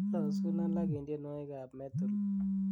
ilosun alak en tienywogik ab metal